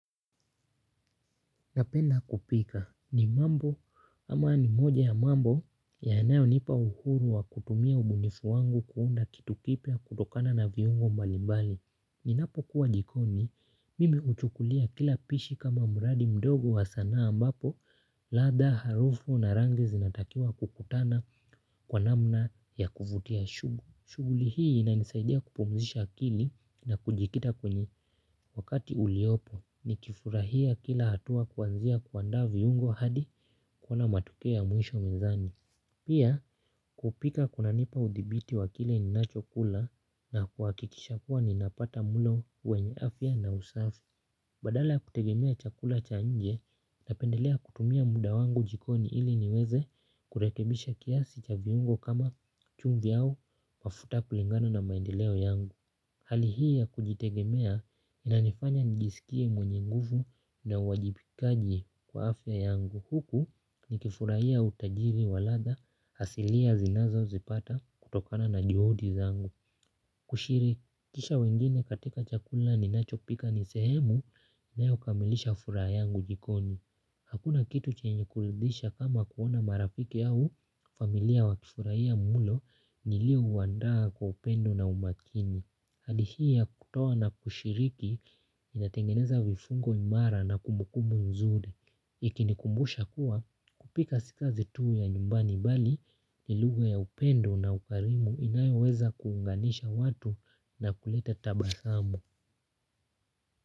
Napenda kupika ni mambo ama ni moja ya mambo yanayo nipa uhuru wa kutumia ubunifu wangu kuunda kitu kipya kutokana na viungo mbalibali. Ninapo kuwa jikoni mimi huchukulia kila pishi kama mradi mdogo wa sanaa ambapo radha, harufu na rangi zinatakiwa kukutana kwa namna ya kuvutia. Shuguli hii ina nisaidia kupumzisha akili na kujikita kwenye wakati uliopo ni kifurahia kila hatua kuanzia kuandaa viungo hadi kuona matokeo ya mwisho mezani. Pia kupika kuna nipa udhibiti wakile ninachokula na kuhakikisha kuwa ninapata mlo wenye afya na usafi. Badala ya kutegemea chakula cha nje, napendelea kutumia muda wangu jikoni ili niweze kurekebisha kiasi cha viungo kama chumvi au mafuta kulingana na maendeleo yangu. Hali hii ya kujitegemea inanifanya nijisikie mwenye nguvu na uwajibikaji kwa afya yangu. Huku nikifurahia utajiri wa radha asilia zinazo zipata, kutokana na juhudi zangu. Kushiri, kisha wengine katika chakula ninachopika nisehemu ya kukamilisha furaha yangu jikoni. Hakuna kitu chenye kuridhisha kama kuona marafiki au familia wa kifurahia mlo nilio uandaa kwa upendo na umakini. Hali hii ya kutoa na kushiriki inatengeneza vifungo imara na kumbukumbu nzuri. Ikinikumbusha kuwa kupika si kazi tu ya nyumbani bali ni lugha ya upendo na ukarimu inayoweza kuunganisha watu na kuleta tabasamu.